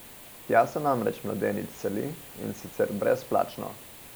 Tja se namreč mladenič seli, in sicer brezplačno.